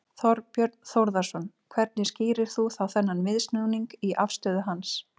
Þorbjörn Þórðarson: Hvernig skýrir þú þá þennan viðsnúning í afstöðu hans?